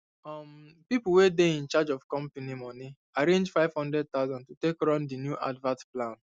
um people wey dey in charge of company money arrange 500000 to take run the new advert plan